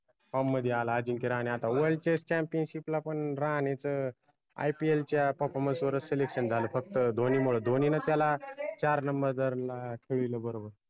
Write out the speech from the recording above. form मदि आला अजिंक्य राहाने आता worldchampionship ला पन राहानेच अं IPL च्या performance वरच selection झालं फक्त धोनीमुळं धोनीनं त्याला चार number केलं बरोबर